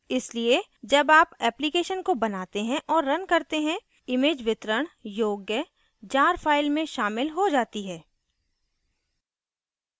इसलिए जब आप application को बनाते और रन करते हैं image वितरण योग्य jar file में शामिल हो जाती है